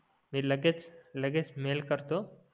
मी लगेच लगेच मेल करतो